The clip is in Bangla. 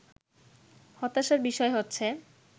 হতাশার বিষয় হচ্ছে